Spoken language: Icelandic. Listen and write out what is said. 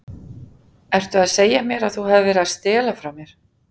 Ertu að segja mér að þú hafir verið að stela frá mér?